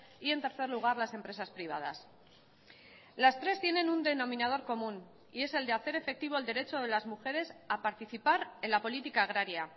y en tercer lugar las empresas privadas las tres tienen un denominador común y es el de hacer efectivo el derecho de las mujeres a participar en la política agraria